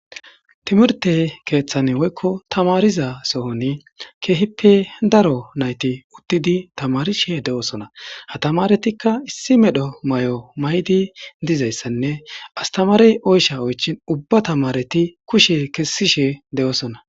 timirte keeththan woykko tamariza sohon keehippe daro nayti uttidi tamarishe de7oosona ha tamaretikka issi medho may7o maydi dizayssanne astamarey oysha oychin ubba tamareti kushe kessishe de7oosona